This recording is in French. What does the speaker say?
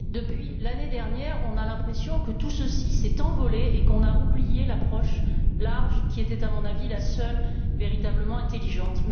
Depuis l'année dernière, nous avons l'impression que tout ceci s'est envolé et qu'on a oublié l'approche large qui était, à mon avis, la seule véritablement intelligente.